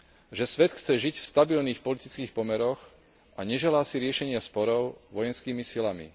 že svet chce žiť v stabilných politických pomeroch a neželá si riešenie sporov vojenskými silami.